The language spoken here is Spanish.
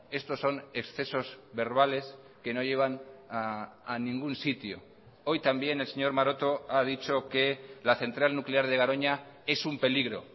estos son excesos verbales que no llevan a ningún sitio hoy también el señor maroto ha dicho que la central nuclear de garoña es un peligro